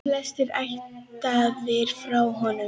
Flestir ættaðir frá honum.